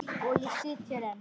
Og ég sit hér enn.